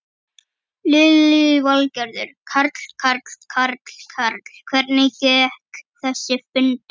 Lillý Valgerður: Karl, Karl, Karl, Karl, hvernig gekk þessi fundur?